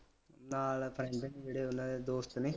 ਨਾਲ ਪੈ ਜਾਂਦਾ ਜਿਹੜੇ ਉਨ੍ਹਾਂ ਦੇ ਦੋਸਤ ਨੀ